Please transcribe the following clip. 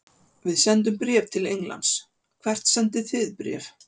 Við sendum bréf til Englands. Hvert sendið þið bréf?